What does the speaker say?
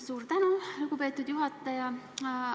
Suur tänu, lugupeetud juhataja!